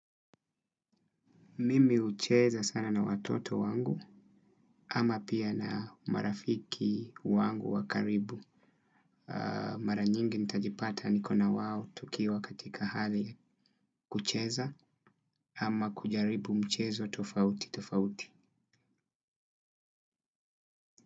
Mimi hucheza sana na watoto wangu, ama pia na marafiki wangu wakaribu. Mara nyingi nitajipata niko nawao tukiwa katika hali kucheza, ama kujaribu mchezo tofauti tofauti.